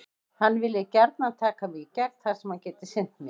Hann vilji gjarnan taka mig í gegn þar sem hann geti sinnt mér.